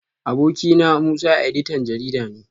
Abokina Musa editan jarida ne